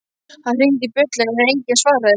Hann hringdi bjöllunni en enginn svaraði.